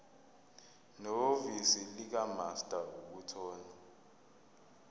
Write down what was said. nehhovisi likamaster ukuthola